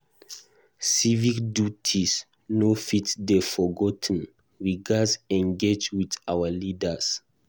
Civic duties no fit dey forgot ten; we gatz engage with our leaders.